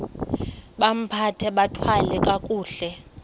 bambathe bathwale kakuhle